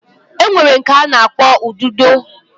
Enwere nke ana akpo ududo